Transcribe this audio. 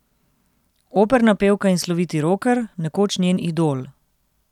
Operna pevka in sloviti roker, nekoč njen idol.